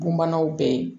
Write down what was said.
Bunbanaw bɛ yen